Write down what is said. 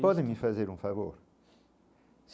Pode me fazer um favor.